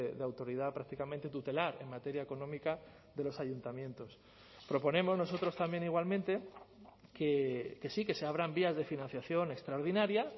de autoridad prácticamente tutelar en materia económica de los ayuntamientos proponemos nosotros también igualmente que sí que se abran vías de financiación extraordinaria